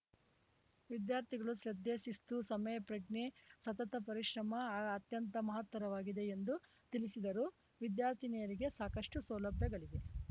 ವಿದ್ಯಾರ್ಥಿಗಳು ಶ್ರದ್ಧೆ ಶಿಸ್ತು ಸಮಯಪ್ರಜ್ಞೆ ಸತತ ಪರಿಶ್ರಮ ಅತ್ಯಂತ ಮಹತ್ತರವಾಗಿದೆ ಎಂದು ತಿಳಿಸಿದರು ವಿದ್ಯಾರ್ಥಿನಿಯರಿಗೆ ಸಾಕಷ್ಟುಸೌಲಭ್ಯಗಳಿವೆ